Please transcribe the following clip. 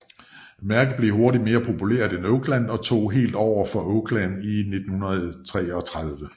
Mærket blev hurtigt mere populært end Oakland og tog helt over for Oakland i 1933